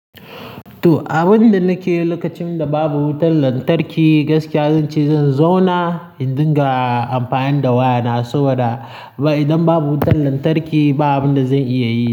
To, abin da nake yi lokacin da babu wutar lantarki gaskiya zan ce zan zauna in dinga amfani da wayana. Saboda idan babu wutar lantarki ba abin da zan iya yi.